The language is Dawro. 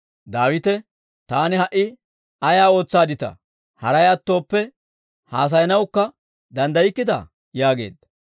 Daawite, «Taani ha"i ay ootsaadditaa? Haray attooppe haasayanawukka danddaykkitaa?» yaageedda.